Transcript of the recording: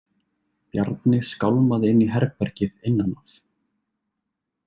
Bjarni skálmaði inn í herbergið innan af.